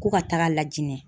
Ko ka taaga lajinɛ.